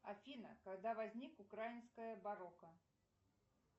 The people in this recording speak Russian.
афина когда возник украинское барокко